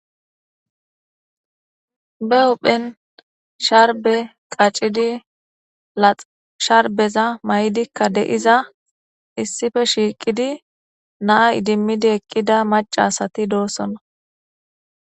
Be huhphen sharbe qaccidi lax sharbeza may'dikka deiza issife shiiqidi naa idimmidi eqqida macasati doossona.